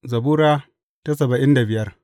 Zabura Sura saba'in da biyar